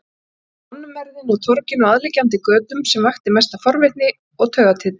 Samt var það mannmergðin á torginu og aðliggjandi götum sem vakti mesta forvitni og taugatitring.